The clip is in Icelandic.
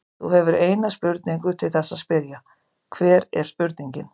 Þú hefur eina spurningu til þess að spyrja, hver er spurningin?